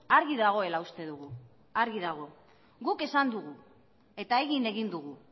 argi dagoela uste dugu argi dago guk esan dugu eta egin egin dugu